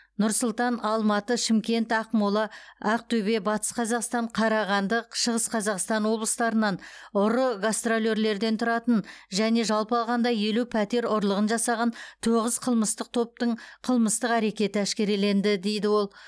нұр сұлтан алматы шымкент ақмола ақтөбе батыс қазақстан қарағанды шығыс қазақстан облыстарынан ұры гастролерлерден тұратын және жалпы алғанда елу пәтер ұрлығын жасаған тоғыз қылмыстық топтың қылмыстық әрекеті әшкереленді дейді ол